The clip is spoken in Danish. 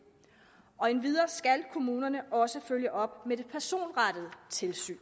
endvidere skal kommunerne også følge op med det personrettede tilsyn